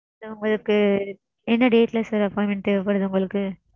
Sir உங்களுக்கு என்ன date ல sir appointment தேவைப்படுது உங்களுக்கு?